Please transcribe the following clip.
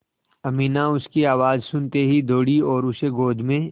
अमीना उसकी आवाज़ सुनते ही दौड़ी और उसे गोद में